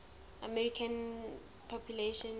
african american population